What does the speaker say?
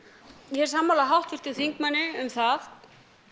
ég er sammála háttvirtum þingmanni um það